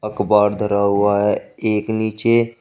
कबाड़ धरा हुआ है एक नीचे--